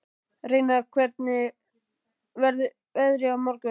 Reynar, hvernig verður veðrið á morgun?